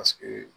Paseke